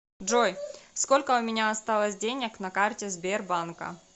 джой сколько у меня осталось денег на карте сбербанка